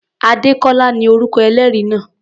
Adékọ́lá ni orúkọ ẹlẹ́rìí náà.